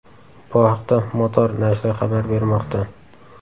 Bu haqda Motor nashri xabar bermoqda .